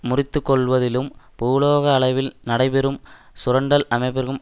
முறித்துக்கொள்வதிலும் பூளோக அளவில் நடைபெறும் சுரண்டல் அமைப்பிற்கும்